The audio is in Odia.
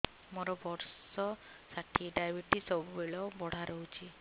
ମୋର ବର୍ଷ ଷାଠିଏ ଡାଏବେଟିସ ସବୁବେଳ ବଢ଼ା ରହୁଛି